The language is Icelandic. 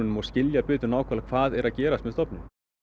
og skilja betur nákvæmlega hvað er að gerast með stofninn